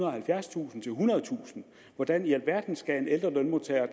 og halvfjerdstusind til ethundredetusind hvordan i alverden skal ældre lønmodtagere